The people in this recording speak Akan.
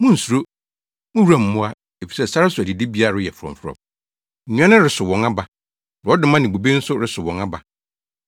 Munnsuro, mo wuram mmoa! Efisɛ sare so adidibea reyɛ frɔmfrɔm. Nnua no resow wɔn aba; borɔdɔma ne bobe nso resow wɔn aba.